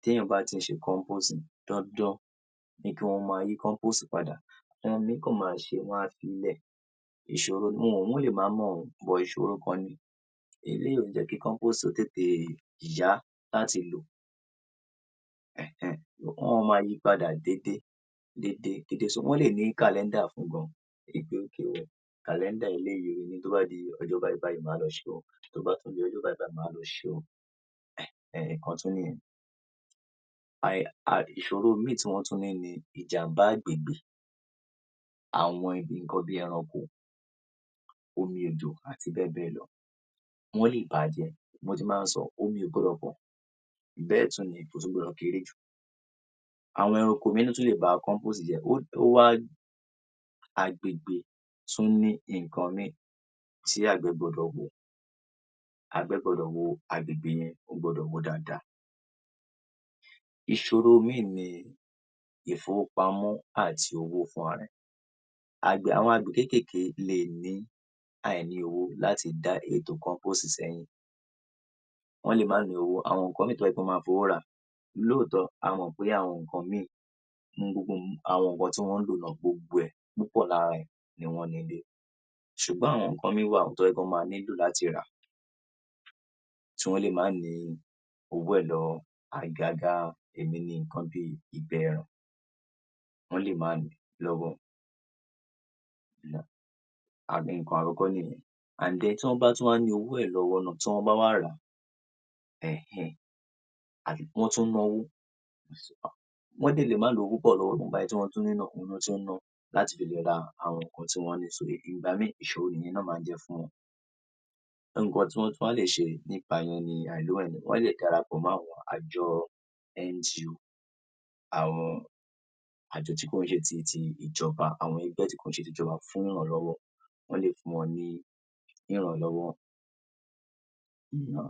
tí èèyàn bá ti ń ṣe compost, dandan ni kí wọ́n máa yí compost padà. Àwọn míì kàn ma ṣe, wọ́n á fií lẹ̀, ìṣòro ni. Òun lè má mọ̀ o but ìṣòro kan ni. Eléyìí ò ní jẹ́ kí compost ó tètè yá láti lò. Um Um wọ́n ma máa yíi padà déédé, déédé, déédé so wọ́n lè ní kàlẹ́ńdà fún un gan-an wí pé okay o, kàkẹ́ńdà eléyìí o tó bá di ọjọ́ báyìí báyìí màá lọ ṣeé o, tó bá tún di ọjọ́ báyìí báyìí màá lọ ṣeé o. Um, ìkan tún nìyẹn. Àì, Um, ìṣòro míì tí wọ́n tún ní ni ìjàmbá àgbègbè, àwọn nǹkan bí ẹranko, omi, òjò àti bẹ́ẹ̀ bẹ́ẹ̀ lọ. Wọ́n lè bàá jẹ́, mo ti máa ń sọ, omi ò gbọdọ̀ pọ̀ jù, bẹ́ẹ̀ tún ni kò tún gbọdọ̀ kéré jù. Àwọn ẹranko míì tún lè ba compost jẹ́, ó, ó wá, àgbègbè tún ni nǹkan míì tí àgbẹ̀ gbọdọ̀ wò, àgbẹ̀ gbọdọ̀ wo àgbègbè yẹn, ó gbọdọ̀ wò ó dáadáa. Ìṣòro míì ni ìfowópamọ́ àti owó fúnra rẹ̀, àgbẹ̀, àwọn àgbẹ̀ kéékèèké lè ní àìní owó láti dá ètò compost sẹ́yìn. Wọ́n lè má ní owó, àwọn nǹkan míì tó jẹ́ pé wọ́n ma fi owó rà. Lóòótọ́, a mọ̀ pé àwọn nǹkan míì nínú gbogbo àwọn nǹkan tí wọ́n ń lò náà, gbogbo ẹ̀ púpọ̀ lára ẹ̀ ni wọ́n ní nílé. Ṣùgbọ́n àwọn nǹkan míì wà tó jẹ́ pé wọ́n ma nílò láti rà tí wọ́n lè má ní owó ẹ̀ lọ́wọ́, àgàgà èmi ni nǹkan bíi ìgbẹ́ ẹran, wọ́n lè má ní lọ́wọ́. and then tí wọ́n bá tún wá ní owó ẹ̀ lọ́wọ́ náà tí wọ́n bá wá ràá, um um, àbí wọ́n tún náwó, wọ́n dẹ̀ lè má lówó púpọ̀ lọ́wọ́, ìwọ̀nba èyí tí wọ́n tún ní náà òun ni wọ́n tún ná láti le fi ra àwọn nǹkan tí wọ́n ní so ìgbà míì ìṣòro nìyẹn náà máa ń jẹ́ fún wọn. Nǹkan tí wọ́n tún wá lè ṣe nípa ìyẹn ni wọ́n lè dára pọ̀ mọ́ àwọn àjọ NGO, àwọn àjọ tí kò ń ṣe ti ti ìjọba, àwọn ẹgbẹ́ tí kò ń ṣe ti ìjọba fún ìrànlọ́wọ́, wọ́n lè fún wọn ní ìrànlọ́wọ́. Ìràn.